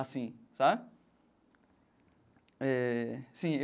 Assim, sabe? Eh sim.